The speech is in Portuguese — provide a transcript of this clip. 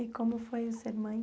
E como foi ser mãe?